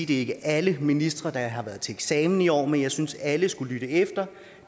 det ikke er alle ministre der har været til eksamen i år men jeg synes at alle skal lytte efter